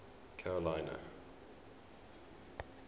carolina